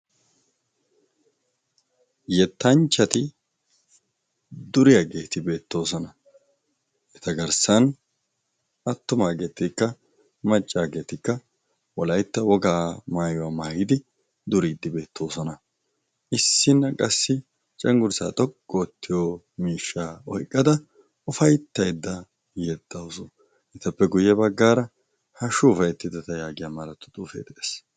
Yettanchchati duriaageeti beettoosona eta garssan attumaageetikka maccaageetikka wolaitta wogaa maayuwaa maayidi duriiddibeettoosona issinna qassi cenggurisaa xoqq oottiyo miishsha oiqqada ufayttaidda yexxausu etappe guyye baggaara ha shuufayttidata yaagiya malatu xuufee d'ees.